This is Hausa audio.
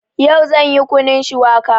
Yau zan yi Kunun shuwaka